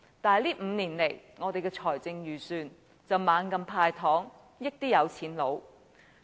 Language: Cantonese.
然而，這5年來，我們的財政預算案卻不斷"派糖"，惠及有錢人。